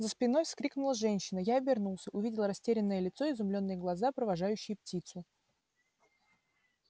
за спиной вскрикнула женщина я обернулся увидел растерянное лицо изумлённые глаза провожающие птицу